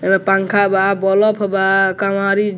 एमए पंखा बा बोलोफ बा कवांरी --